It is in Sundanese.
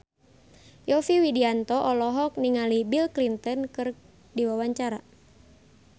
Yovie Widianto olohok ningali Bill Clinton keur diwawancara